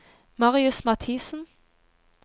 Marius Mathisen